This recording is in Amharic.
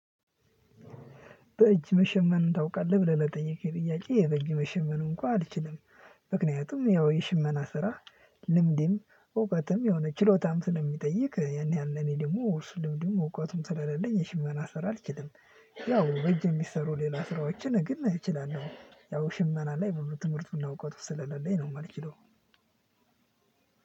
በእጅ መሸመኑን ታውቃለህ ብለህ ለጠየከኝ ጥያቄ በእጅ መሸመን እንኳ አልችልም። ምክንያቱም ያው የሽመና ስራ ልምድም እውቀትም የሆነ ችሎታም ስለሚጠይቅ ያን ያህል እኔ ደግሞ ውርስ ልምድም እውቀቱም ስለሌለኝ የሽመና ስራ አልችልም። ያው በእጅ የሚሰሩ ሌላ ስራዎችን ግን እችላለሁ ያው ሽመና ላይ ብዙ ትምህርቱ እና እውቀቱ ስለሌለኝ ነው የማልችለው።